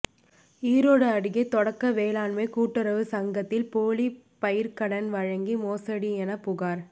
ஈரோடு அருகே தொடக்க வேளாண்மை கூட்டுறவு சங்கத்தில் போலி பயிர்க்கடன் வழங்கி மோசடி என புகார்